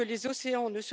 ist, wie es aussieht.